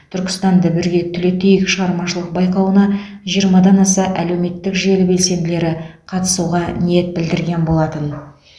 түркістанды бірге түлетейік шығармашылық байқауына жиырмадан аса әлеуметтік желі белсенділері қатысуға ниет білдірген болатын